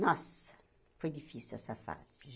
Nossa, foi difícil essa fase.